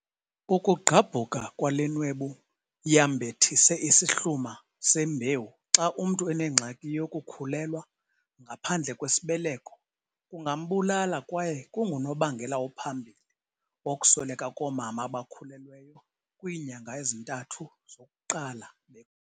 "Ukugqabhuka kwale nwebu yambethise isihluma sembewu xa umntu enengxaki yokukhulelwa ngaphandle kwesibeleko kungambulala kwaye kungunobangela ophambili wokusweleka koomama abakhulelweyo kwiinyanga ezintathu zokuqala be."